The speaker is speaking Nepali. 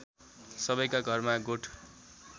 सबैका घरमा गोठ